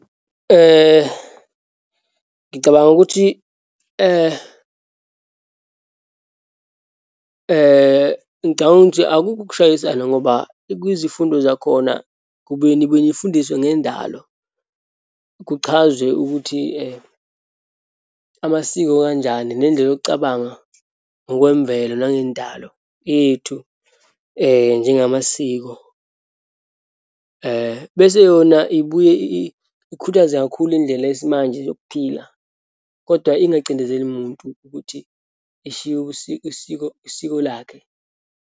Ngicabanga ukuthi ngicabanga ukuthi akukho ukushayisana ngoba kwizifundo zakhona kubuye nibe nifundiswe ngendalo. Kuchazwe ukuthi amasiko kanjani nendlela yokucabanga ngokwemvelo nangendalo yethu njengamasiko. Bese seyona ibuye ikhuthaze kakhulu indlela yesimanje yokuphila, kodwa ingacindezeli muntu ukuthi eshiye isiko lakhe.